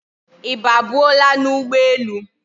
I ba buo la na ugbo elu?